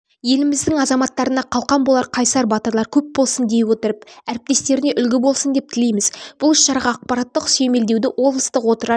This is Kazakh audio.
еліміздің азаматтарына қалқан болар қайсар батырлар көп болсын дей отырып әріптестеріне үлгі болсын деп тілейміз бұл іс-шараға ақпараттық сүйемелдеуді облыстық отырар